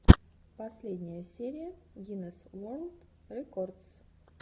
последняя серия гинесс ворлд рекордс